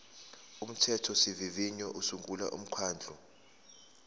umthethosivivinyo usungula umkhandlu